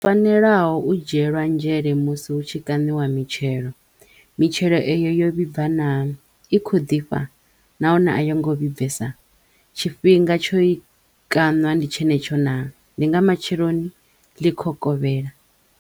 Fanelaho u dzhielwa nzhele musi hu tshi kaṋiwa mitshelo, mitshelo e yo vhibva naa, i kho ḓifha, nahone a yo ngo vhibves, tshifhinga tsho yi kaṋa ndi tshenetsho naa, ndi nga matsheloni ḽi kho kovhela.